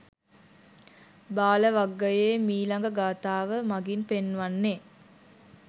බාල වග්ගයේ මීළඟ ගාථාව මඟින් පෙන්වන්නේ,